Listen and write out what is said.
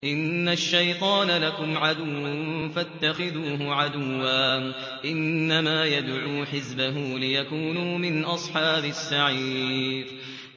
إِنَّ الشَّيْطَانَ لَكُمْ عَدُوٌّ فَاتَّخِذُوهُ عَدُوًّا ۚ إِنَّمَا يَدْعُو حِزْبَهُ لِيَكُونُوا مِنْ أَصْحَابِ السَّعِيرِ